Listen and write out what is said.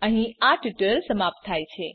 અહીં આ ટ્યુટોરીયલ સમાપ્ત થાય છે